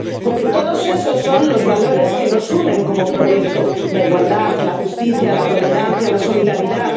Porque todos esos son los valores que nos unen como proyecto la igualdad, la justicia, la tolerancia, la solidaridad...